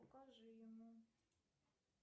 покажи ему